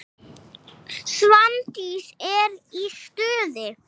Svandís er í stuði.